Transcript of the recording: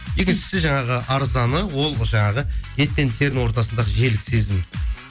екіншісі жаңағы арзаны ол жаңағы ет пен терінің ортасындағы жел сезім